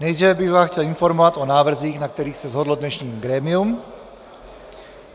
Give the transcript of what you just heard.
Nejdříve bych vás chtěl informovat o návrzích, na kterých se shodlo dnešní grémium.